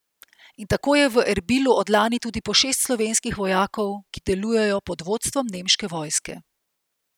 In tako je v Erbilu od lani tudi po šest slovenskih vojakov, ki delujejo pod vodstvom nemške vojske.